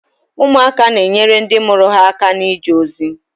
Ụmụaka na-enyere ndị mụrụ ha aka na-ije ozi.